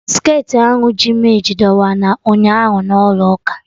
Skirtị ahụ ji m eji dọwa na ụnyaahụ na ụlọ ụka